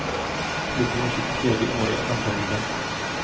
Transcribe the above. Klubben gör sitt tredje år i andraligen.